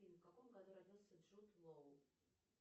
в каком году родился джуж лоу